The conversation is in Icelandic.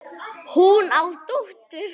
Hún á dóttur.